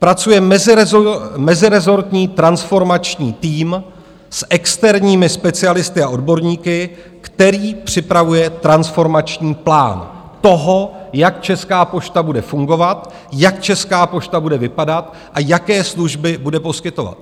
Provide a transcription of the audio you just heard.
Pracuje mezirezortní transformační tým s externími specialisty a odborníky, který připravuje transformační plán toho, jak Česká pošta bude fungovat, jak Česká pošta bude vypadat a jaké služby bude poskytovat.